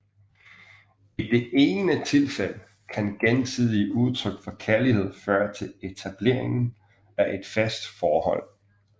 I det ene tilfælde kan gensidige udtryk for kærlighed føre til etableringen af et fast forhold